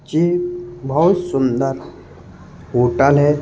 ये बहुत सुंदर होटल है।